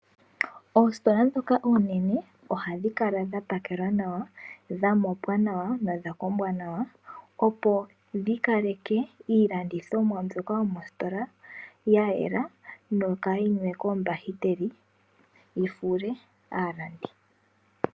Oositola ndhoka oonene ohadhi kala dha pakelwa nawa, dha mopwa nawa nodha kombwa nawa, opo dhi kaleke iilandithomwa mbyoka yomositola ya yela noka yi na oombahiteli yi fuule aalandi.